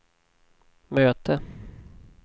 möte